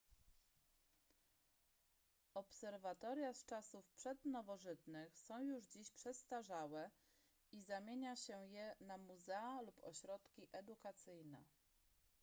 obserwatoria z czasów przednowożytnych są już dziś przestarzałe i zamienia się je na muzea lub ośrodki edukacyjne